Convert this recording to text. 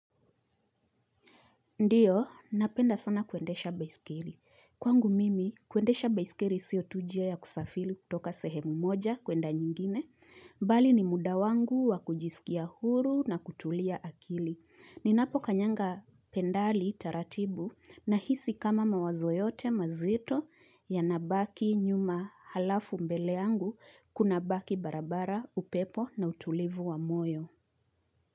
Ndiyo, napenda sana kuendesha baiskeri. Kwangu mimi, kuendesha baiskeri siyo tu njia ya kusafiri kutoka sehemu moja kwenda nyingine. Bali ni muda wangu wa kujisikia huru na kutulia akili. Ninapo kanyanga pendali taratibu na hisi kama mawazo yote mazito ya nabaki nyuma halafu mbeleyangu kuna baki barabara, upepo na utulivu wa moyo.